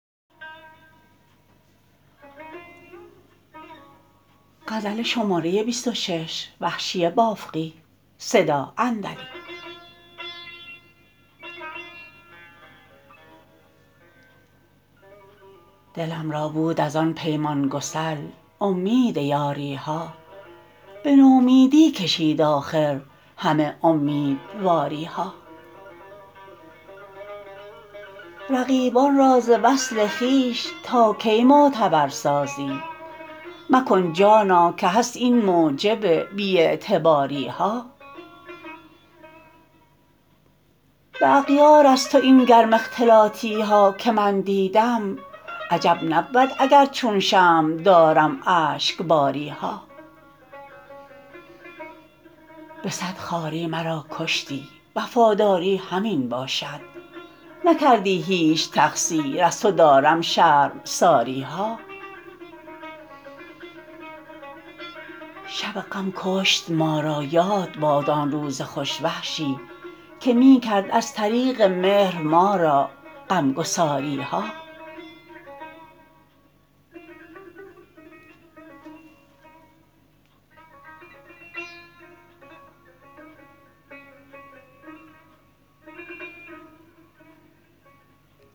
دلم را بود از آن پیمان گسل امید یاری ها به نومیدی کشید آخر همه امیدواری ها رقیبان را ز وصل خویش تا کی معتبر سازی مکن جانا که هست این موجب بی اعتباری ها به اغیار از تو این گرم اختلاطی ها که من دیدم عجب نبود اگر چون شمع دارم اشکباری ها به سد خواری مرا کشتی وفاداری همین باشد نکردی هیچ تقصیر از تو دارم شرمساری ها شب غم کشت ما را یاد باد آن روز خوش وحشی که می کرد از طریق مهر ما را غمگساری ها